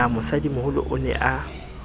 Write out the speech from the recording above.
na mosadimoholo o ne a